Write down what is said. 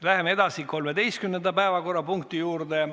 Läheme edasi 13. päevakorrapunkti juurde.